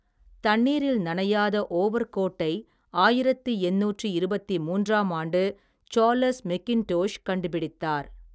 தண்ணீரில் நனையாத ஓவர் கோட்டை ஆயிரத்தி எண்ணூற்றி இருபத்தி மூன்றாம் ஆண்டு சார்லஸ் மெக்கின்டோஷ் கண்டுபிடித்தார்.